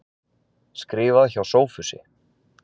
Skrifað hjá Sophusi.